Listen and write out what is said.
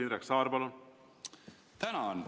Indrek Saar, palun!